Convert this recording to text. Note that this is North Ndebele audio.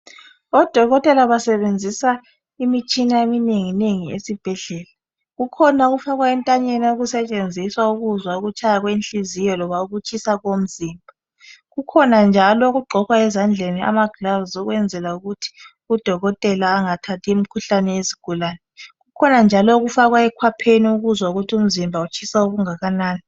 Odokotela basebenzisa imitshina eminenginengi esibhedlela. Kukhona okufakwa entanyeni. Okusetshenziswa ukuzwa ukutshaya kwenhliziyo loba ukutshisa komzimba. Kukhona njalo okugqokwa ezandleni amaglovisi, ukwenzela ukuthi udokotela angathathi imikhuhlane yezigulane. Kukhona njalo okufakwa ekwapheni ukuzwa ukuthi umzimba utshisa okungakanani.